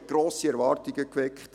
Man hat grosse Erwartungen geweckt.